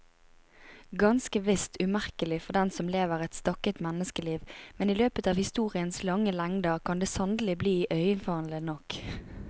Ganske visst umerkelig for den som lever et stakket menneskeliv, men i løpet av historiens lange lengder kan det sannelig bli iøynefallende nok.